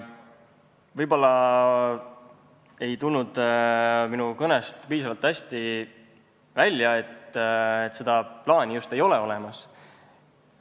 Võib-olla ei tulnud minu kõnest piisavalt hästi välja, et seda plaani just ei ole olemas.